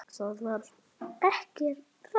ÞAÐ VAR RANGT.